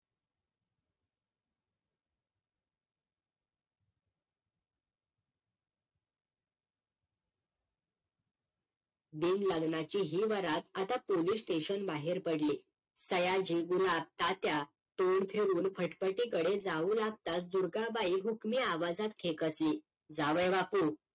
बिन लग्नाची ही वरात आता POLICE STATION बाहेर पडली. सयाजी गुलाब तात्या तोंड फिरवून फटफटी कडे जाऊ लागतात दुर्गाबाई हुकुमी आवाजात खेकसली, जावईबापू